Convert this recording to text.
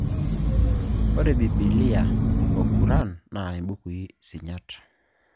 Ore Biblia o Kuran naa imbukui sinyat